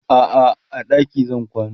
a'a a ɗaki zan kwana